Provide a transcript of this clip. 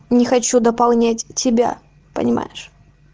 не хочу дополнять тебя понимаешь